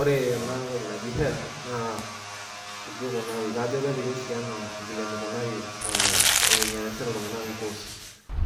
Ore enatoki naji helb naa inji ikunari kajo kepiki oshi anaa vile nikunari ee venye naasita iltunganak inkoosi .